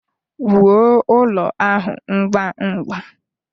Wuo ụlọ ahụ ngwa ngwa!